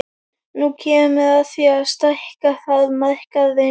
Nú kemur að því að stækka þarf markaðinn.